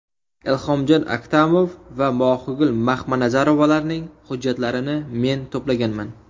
Ilhomjon Aktamov va Mohigul Maxmanazarovalarning hujjatlarini men to‘plaganman.